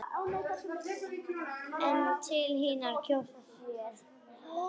einn til hinir kjósa sér.